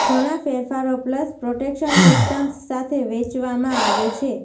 ઘણા ફેરફારો pulse protection systems સાથે વેચવામાં આવે છે